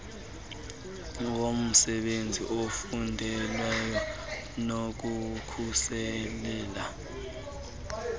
womsenzi ofundelweyo nokukhusela